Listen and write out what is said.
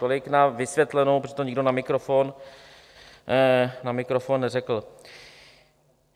Tolik na vysvětlenou, protože to nikdo na mikrofon neřekl.